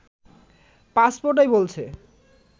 পাসপোর্টই বলছে